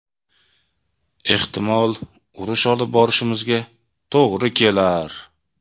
Ehtimol urush olib borishimizga to‘g‘ri kelar.